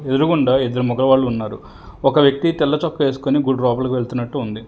ఎదురుగుండా ఇద్దరు మగవాళ్ళు ఉన్నారు ఒక వ్యక్తి తెల్ల చొక్కా ఏసుకొని గుడి లోపలికి వెళ్తునట్టు ఉంది.